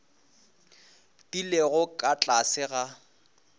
di lego ka tlase ga